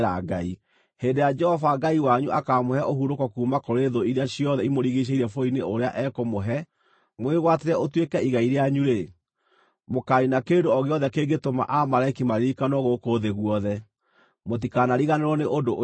Hĩndĩ ĩrĩa Jehova Ngai wanyu akaamũhe ũhurũko kuuma kũrĩ thũ iria ciothe imũrigiicĩirie bũrũri-inĩ ũrĩa ekũmũhe mũwĩgwatĩre ũtuĩke igai rĩanyu-rĩ, mũkaaniina kĩndũ o gĩothe kĩngĩtũma Aamaleki maririkanwo gũkũ thĩ guothe. Mũtikanariganĩrwo nĩ ũndũ ũcio.